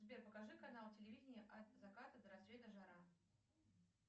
сбер покажи канал телевидение от заката до рассвета жара